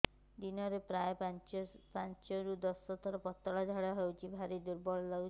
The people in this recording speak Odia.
ଦିନରେ ପ୍ରାୟ ପାଞ୍ଚରୁ ଦଶ ଥର ପତଳା ଝାଡା ହଉଚି ଭାରି ଦୁର୍ବଳ ଲାଗୁଚି